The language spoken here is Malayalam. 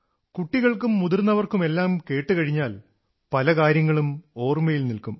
കുട്ടികൾക്കും മുതിർന്നവർക്കുമെല്ലാം കേട്ടുകഴിഞ്ഞാൽ പല കാര്യങ്ങളും ഓർമ്മയിൽ നിൽക്കും